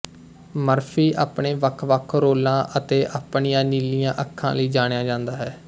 Murphy ਆਪਣੇ ਵੱਖਵੱਖ ਰੋਲਾਂ ਅਤੇ ਆਪਣੀਆਂ ਨੀਲੀਆਂ ਅੱਖਾਂ ਲਈ ਜਾਣਿਆ ਜਾਂਦਾ ਹੈ